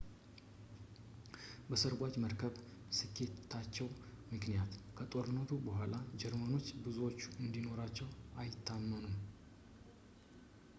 በሰርጓጅ መርከብ ስኬታቸው ምክንያት ከጦርነቱ በኋላ ጀርመኖች ብዙዎቹን እንዲኖራቸው አይታመኑም